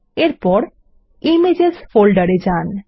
এরপর ইমেজেস ফোল্ডারে যান